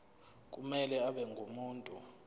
kumele abe ngumuntu